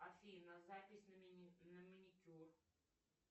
афина запись на маникюр